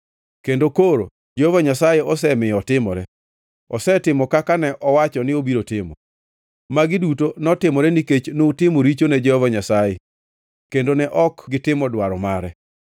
Kendo koro Jehova Nyasaye osemiyo otimore; osetimo kaka ne owacho ni obiro timo. Magi duto notimore nikech nutimo richo ne Jehova Nyasaye kendo ne ok gitimo dwaro mare.